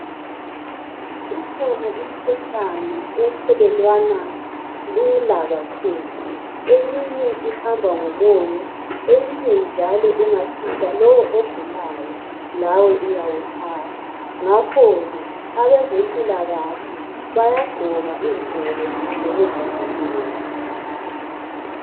Ikhona imikhuhlane ethelelwana lula kakhulu. Eminye ihamba ngomoya. Eyinye njalo ungathinta lo ogulayo lawe uyawuthatha. Ngakhoke abezempilakahle bayagqoka izigqoko zokuzivikela.